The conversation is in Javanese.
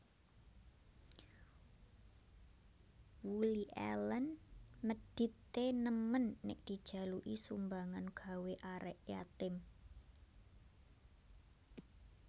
Woody Allen medit e nemen nek dijaluki sumbangan gawe arek yatim